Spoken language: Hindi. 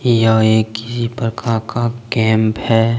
यह एक ही प्रखा का कैंप है।